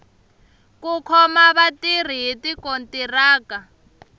ku khoma vatirhi hi tikontiraka